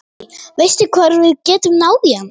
Guðný: Veistu hvar við getum náð í hann?